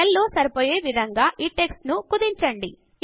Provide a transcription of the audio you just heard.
cell లో సరిపోయే విధంగా ఈ టెక్స్ట్ ను కుదించండి